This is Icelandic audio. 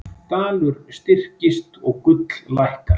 Dalur styrkist og gull lækkar